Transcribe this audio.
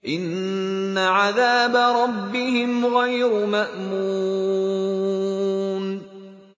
إِنَّ عَذَابَ رَبِّهِمْ غَيْرُ مَأْمُونٍ